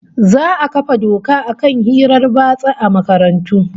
Za'a kafa doka akan hirar batsa a makarantu